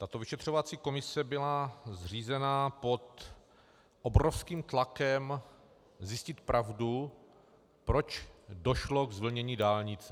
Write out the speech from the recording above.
Tato vyšetřovací komise byla zřízena pod obrovským tlakem zjistit pravdu, proč došlo k zvlnění dálnice.